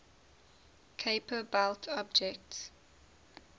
kuiper belt objects